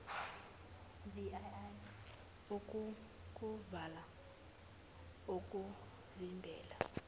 vii okokuvala okuvimbela